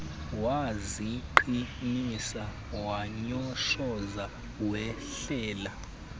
waziqinisa wanyoshoza wehlela